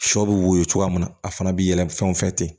Sɔ bɛ woyo cogoya min na a fana bi yɛlɛ fɛn o fɛ ten